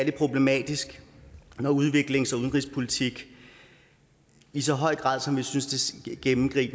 problematisk at udviklings og udenrigspolitik i så høj grad som vi gennemgående synes